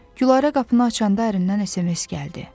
Gülarə qapını açanda ərindən SMS gəldi.